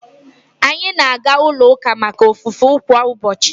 Anyị na-aga ulo uka maka ofufe kwa ubochi uka